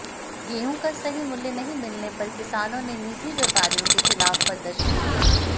गेहूं का सही मुल्य नहीं मिलने पर किसानों ने नीजि व्यपारियों के खिलाफ प्रदर्शन किया